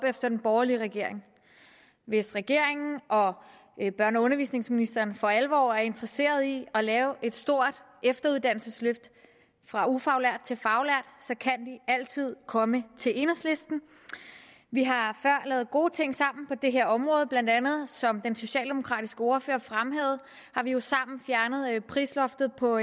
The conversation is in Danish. efter den borgerlige regering hvis regeringen og børne og undervisningsministeren for alvor er interesseret i at lave et stort efteruddannelsesløft fra ufaglært til faglært så kan de altid komme til enhedslisten vi har før lavet gode ting sammen på det her område bla som den socialdemokratiske ordfører fremhævede har vi vi sammen fjernet prisloftet på